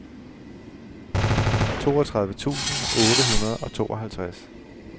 toogtredive tusind otte hundrede og tooghalvtreds